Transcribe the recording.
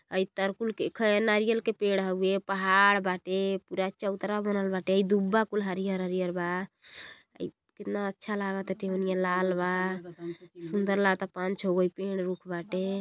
अइ तरकुल के खै नारियल के पेड़ हउवे। पहाड़ बाटे। पूरा चौतरा बनल बाटे। अइ दूबा कुल हरियर हरियर बा। अइ केतना अच्छा लागताटे। ओनिया लाल बा। सुंदर लागता। पान छ गो अइ पेड़ रुख बाटे।